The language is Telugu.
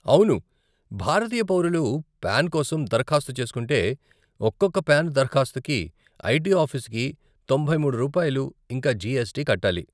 అవును, భారతీయ పౌరులు పాన్ కోసం దరఖాస్తు చేసుకుంటే, ఒకొక్క పాన్ దరఖాస్తుకీ , ఐటీ ఆఫీసుకి తొంభై మూడు రూపాయలు, ఇంకా జీఎస్టీ కట్టాలి.